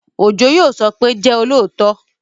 Òjó yóò sọ pé, "jẹ́ olóòótọ